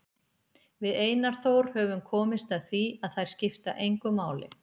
Við Einar Þór höfum komist að því að þær skipta engu máli.